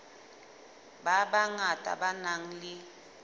ba bangata ba nang le